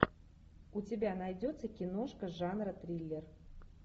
у тебя найдется киношка жанра триллер